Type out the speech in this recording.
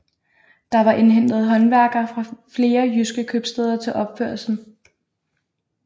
Der var indhentet håndværkere fra flere jyske købstæder til opførelsen